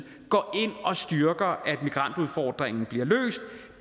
går ind og styrker at migrantudfordringen bliver løst